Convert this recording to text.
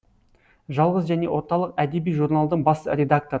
жалғыз және орталық әдеби журналдың бас редакторы